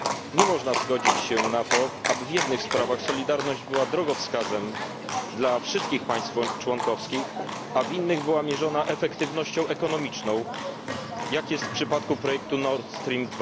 Nie można zgodzić się na to, aby w jednych sprawach solidarność była drogowskazem dla wszystkich państw członkowskich, a w innych była mierzona efektywnością ekonomiczną, jak jest w przypadku projektu Nord Stream